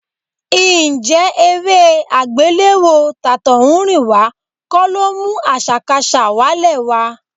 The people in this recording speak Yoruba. Ǹjẹ́ eré àgbéléwò tàtọ̀húnrìnwá kọ́ ló mú àṣàkaṣà wálẹ̀ wa?